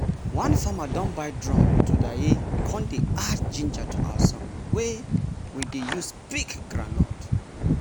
one farmer don buy drum todaye con dey add ginger to our song wey we dey use pick groundnut.